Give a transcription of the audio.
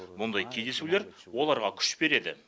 мұндай кездесулер оларға күш береді